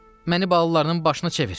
Məni balalarının başına çevir.